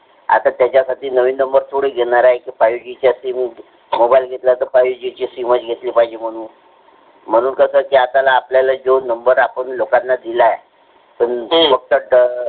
आता त्याच्यामध्ये नवीन number थोडी घेणार आहे. fiveG चा mobile घेतला. म्हणून fiveG ची sim पाहिजे म्हणून कसं आपण आपल्या ज्या लोकांना number दिला आहे. मग कस